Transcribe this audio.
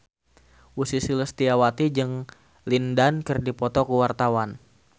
Ussy Sulistyawati jeung Lin Dan keur dipoto ku wartawan